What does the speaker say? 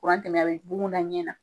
tɛ mɛn be bugun da ɲɛ na